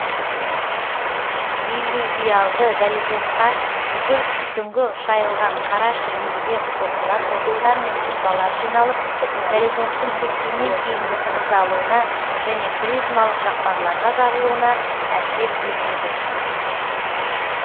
иллювиалды горизонтқа бүкіл үстіңгі шайылған қара шіріндіге қосыла тотықтар мен тұнбалар жиналып горизонттың кепкеннен кейінгі тығыздалуына және призмалық жақпарларға жарылуына әсер етеді